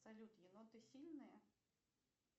салют еноты сильные